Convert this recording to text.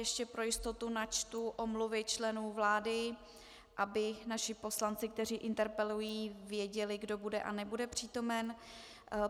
Ještě pro jistotu načtu omluvy členů vlády, aby naši poslanci, kteří interpelují, věděli, kdo bude a nebude přítomen.